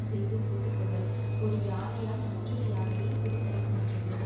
செய்து முடித்து கொள்ளல் ஒரு யானையால் மற்றொரு யானையை பிடித்தலைப் போன்றது